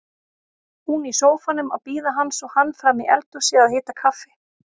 Hún í sófanum að bíða hans og hann frammi í eldhúsi að hita kaffi.